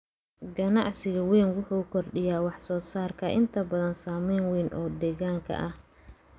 Ganacsiga weyn wuxuu kordhiyaa wax soo saarka, inta badan saameyn weyn oo deegaanka ah.